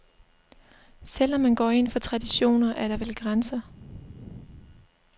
Selv om man går ind for traditioner, er der vel grænser.